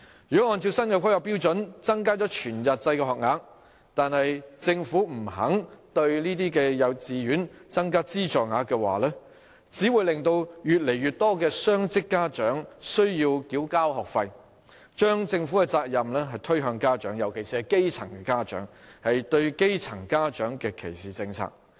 如果按照新的規劃標準增加了全日制學額，但政府不肯向這些幼稚園增加資助額，只會令越來越多雙職家長需要繳交學費，將政府的責任推向家長，尤其是基層家長，是對基層家庭的歧視政策。